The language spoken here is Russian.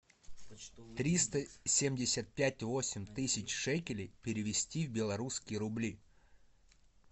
триста семьдесят пять восемь тысяч шекелей перевести в белорусские рубли